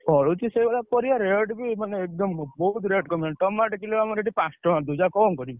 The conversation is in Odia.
ଫଳୁଛି ସେଇଭଳିଆ ପରିବା rate ବି ମାନେ ଏକଦମ ବହୁତ୍ rate କମି ଗଲାଣି। tomato rate ଆମର ଏଠି ପାଞ୍ଚ ଟଙ୍କା ଦଉଛୁ ଆଉ କଣ କରିବୁ।